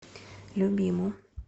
любиму